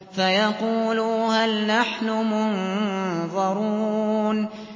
فَيَقُولُوا هَلْ نَحْنُ مُنظَرُونَ